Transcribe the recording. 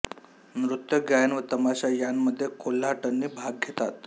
नृत्य गायन व तमाशा यांमध्ये कोल्हाटणी भाग घेतात